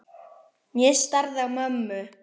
Ég starði á mömmu.